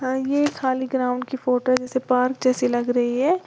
और ये खाली ग्राउंड की फोटो पार्क जैसी लग रही है।